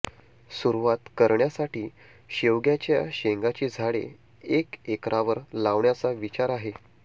सुरुवात करण्या साठी शेवग्याच्या शेंगाची झाडे एक एकरावर लावण्याचा विचार आहे